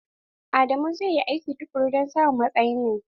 Adamu zai yi aiki tukuru don samun matsayin nan.